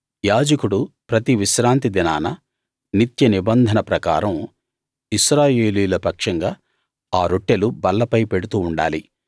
యాజకుడు ప్రతి విశ్రాంతి దినాన నిత్య నిబంధన ప్రకారం ఇశ్రాయేలీయుల పక్షంగా ఆ రొట్టెలు బల్లపై పెడుతూ ఉండాలి